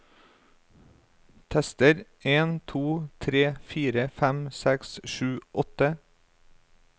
Tester en to tre fire fem seks sju åtte